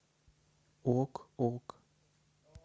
ок ок